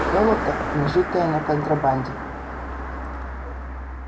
золото нажитое на контрабанде